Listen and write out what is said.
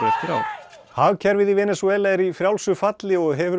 hagkerfið í Venesúela er í frjálsu falli og hefur